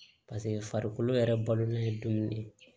paseke farikolo yɛrɛ balolen ye dumuni ye